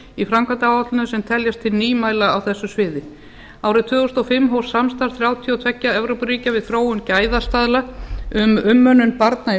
í framkvæmdaáætluninni sem teljast til nýmæla á þessu sviði árið tvö þúsund og fimm hófst samstarf þrjátíu og tvö evrópuríkja við þróun gæðastaðla um umönnun barna í